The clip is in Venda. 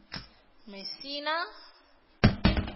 mesina